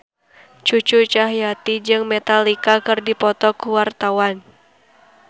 Cucu Cahyati jeung Metallica keur dipoto ku wartawan